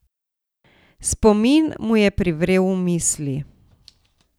Spomin mu je privrel v misli.